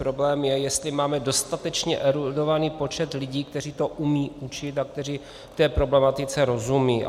Problém je, jestli máme dostatečně erudovaný počet lidí, kteří to umějí učit a kteří té problematice rozumějí.